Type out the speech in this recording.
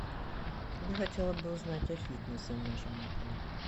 я хотела бы узнать о фитнесе в нашем отеле